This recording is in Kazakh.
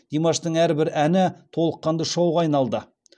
димаштың әрбір әні толыққанды шоуға айналды